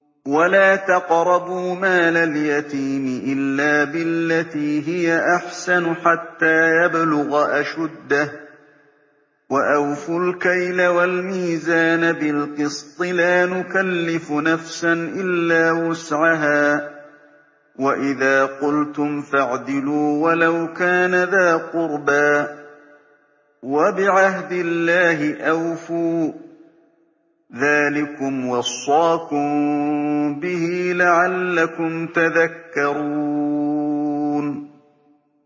وَلَا تَقْرَبُوا مَالَ الْيَتِيمِ إِلَّا بِالَّتِي هِيَ أَحْسَنُ حَتَّىٰ يَبْلُغَ أَشُدَّهُ ۖ وَأَوْفُوا الْكَيْلَ وَالْمِيزَانَ بِالْقِسْطِ ۖ لَا نُكَلِّفُ نَفْسًا إِلَّا وُسْعَهَا ۖ وَإِذَا قُلْتُمْ فَاعْدِلُوا وَلَوْ كَانَ ذَا قُرْبَىٰ ۖ وَبِعَهْدِ اللَّهِ أَوْفُوا ۚ ذَٰلِكُمْ وَصَّاكُم بِهِ لَعَلَّكُمْ تَذَكَّرُونَ